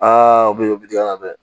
o bɛ digɛn na dɛ